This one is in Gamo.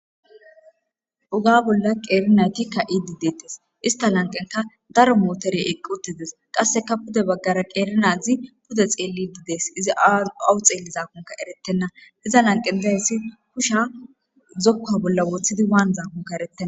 Uga bolla qeerinaytikka idi deettes ista lanqenka daro mootere eqqi uttides qasseka pude baggara qeernazi pude xeelli ididees izi awu xeelli zaakonka erettenna hiza lanqe dayssi husha zokka bolla woththidi waan zaakonka ereten.